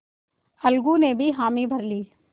अलगू ने भी हामी भर ली